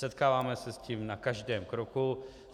Setkáváme se s tím na každém kroku.